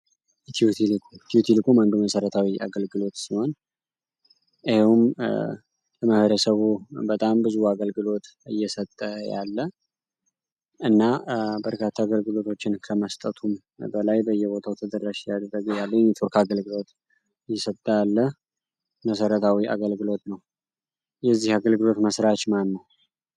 ኢትዮ ቴሌኮም ኢትዮ ቴሌኮም አንዱ መሠረታዊ የአገልግሎት ሲሆን ይህም ለሰው በጣም ብዙ አገልግሎት እየሰጠ ያለ እና በርካታ አገልግሎቶችን ከመስጠቱም በላይ በየቦታው ተደራሽ እያደረገ ያለ የኔትወርክ አገልግሎት እየሰጠ ያለ መሰረታዊ የአገልግሎት ነው። የዚህ አገልግሎት መስራች ማን ነው?